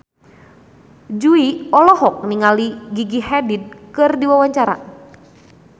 Jui olohok ningali Gigi Hadid keur diwawancara